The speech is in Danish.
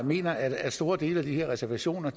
mener at store dele af de her reservationer